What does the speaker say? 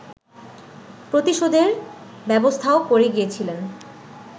প্রতিশোধের ব্যবস্থাও করে গিয়েছিলেন